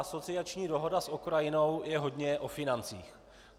Asociační dohoda s Ukrajinou je hodně o financích.